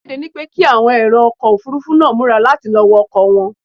A kéde ni pé kí àwọn èrò ọkọ̀ Òfurufú náà múra láti lọ wọ ọkọ̀ wọn.